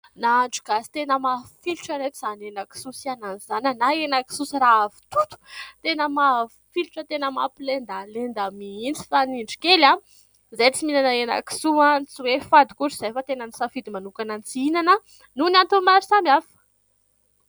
Nahandro gasy tena mafilotra ry ireto izany henan-kisoa sy anana izany, na henan-kisoa sy ravitoto, tena mafilotra, tena mampilendalenda mihitsy. Fa ny indro kely, izahay tsy mihinana henan-kisoa. Tsy hoe fady akory, fa tena nisafidy manokana ny tsy hihinana, noho ny antony maro samihafa.